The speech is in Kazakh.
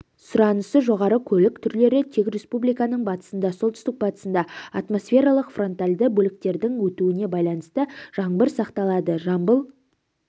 сұранысы жоғары көлік түрлері тек республиканың батысында солтүстік-батысында атмосфералық фронтальды бөліктердің өтуіне байланысты жаңбыр сақталады жамбыл